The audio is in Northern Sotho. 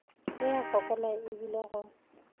e a fokola ebile go